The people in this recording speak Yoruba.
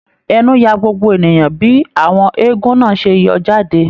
Ẹnu yà gbogbo ènìyàn bí àwọn eégún náà ṣe yọ jáde.